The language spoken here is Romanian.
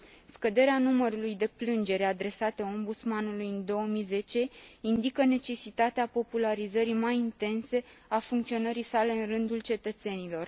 Scăderea numărului de plângeri adresate Ombudsmanului în 2010 indică necesitatea popularizării mai intense a funcționării sale în rândul cetățenilor.